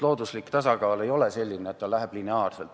Looduslik tasakaal ei ole miski, mis lineaarselt olemas on.